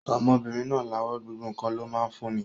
Ọmọbìnrin náà lawọ́, gbogbo ǹkan ló máa ń fún ni.